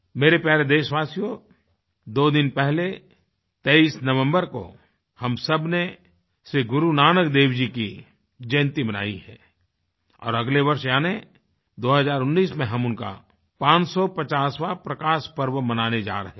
मेरे प्यारे देशवासियो दो दिन पहले 23 नवम्बर को हम सबने श्री गुरु नानक देव जी की जयंती मनाई है और अगले वर्ष यानी 2019 में हम उनका 550वाँ प्रकाशपर्व मनाने जा रहे हैं